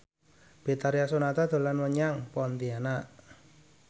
Betharia Sonata dolan menyang Pontianak